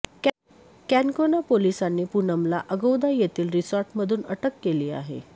कॅनकोना पोलिसांनी पूनमला अगौदा येथील रिसॉर्टमधून अटक केली आहे